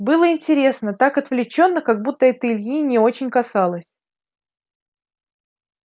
было интересно так отвлечённо как будто это ильи не очень касалось